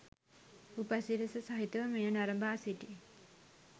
උපසි‍රැසි සහිතව මෙය නරඹා සිටි